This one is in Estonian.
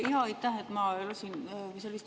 Aitäh!